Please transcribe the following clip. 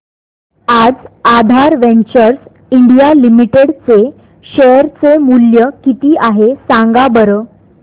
आज Aadhaar ventures India limited चे share चे मूल्य किती आहे सांगा बरं